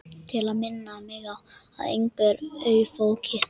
Til að minna mig á að engu er ofaukið.